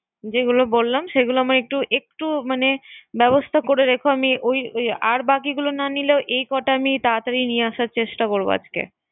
যেগুলা বললাম সেগুলা আমায় একটু একটু মানে ব্যবস্থা করে রেখো। আমি ওই ওই আর গুলা বাকিগুলা না নিলেও এ কটা তারাতারি নিয়ে আসার চেষ্টা করব।